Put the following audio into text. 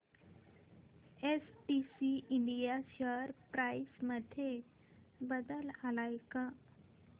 STC India share price मध्ये बदल आलाय का